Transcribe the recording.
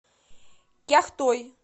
кяхтой